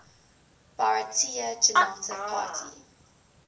bharatiya janata party